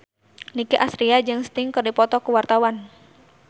Nicky Astria jeung Sting keur dipoto ku wartawan